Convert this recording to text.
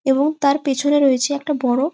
এবং তার পেছনে রয়েছে একটা বড়--